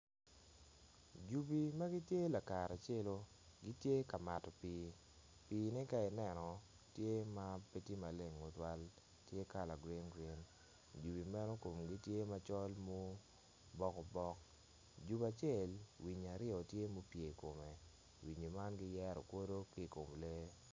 Jubi ma gitye laka celu gitye ka mato pii, piine ka ineno pe tye maleng tutwal tye kala green green jubi meno komgi tye macol ma obokobok jubi acel winyi aryo tye ma opye i kome winyi man giyero kwodo ki ikom lee.